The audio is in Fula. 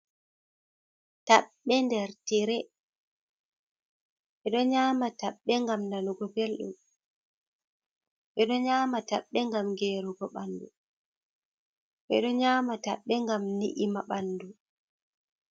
Taɓɓe nder tire, ɓe ɗo nyaama taɓɓe ngam nanugo belɗum, ɓe ɗo nyaama taɓɓe ngam geerugo ɓanndu, ɓe ɗo nyaama taɓɓe ngam ni’ima ɓanndu.